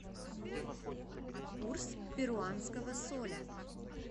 курс перуанского соля